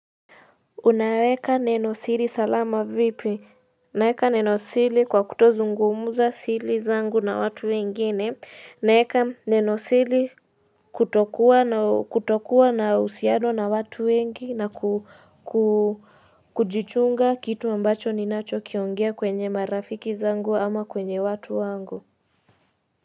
Unaweka neno siri salama vipi, naweka neno siri kwa kutozungumza siri zangu na watu wengine, naweka neno siri kutokuwa na uhusiano na watu wengi na kujichunga kitu ambacho ninacho kiongea kwenye marafiki zangu ama kwenye watu wangu.